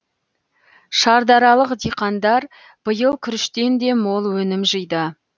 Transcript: шардаралық диқандар биыл күріштен де мол өнім жиды